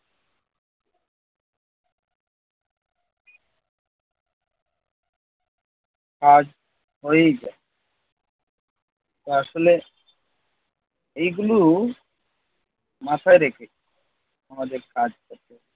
কাজ অইব আসলে এই গুলো মাথায় রেখে আমাদের কাজ করতে হবে।